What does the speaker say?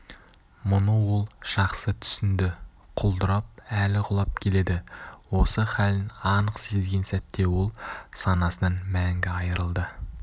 мұны ол жақсы түсінді құлдырап әлі құлап келеді осы халін анық сезген сәтте ол санасынан мәңгі айырылды